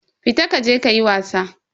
Fita kaje kayi wasa.